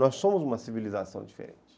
Nós somos uma civilização diferente.